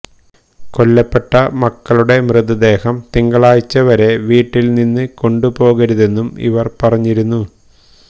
കൊല്ലപ്പെട്ട മക്കളുടെ മൃതദേഹം തിങ്കളാഴ്ച വരെ വീട്ടിൽനിന്ന് കൊണ്ടുപോകരുതെന്നും ഇവർ പറഞ്ഞിരുന്നു